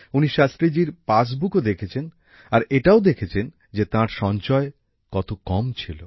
উনি শাস্ত্রীজীর পাসবুকও দেখেছেন আর এটাও দেখেছেন যে তাঁর সঞ্চয় কত কম ছিল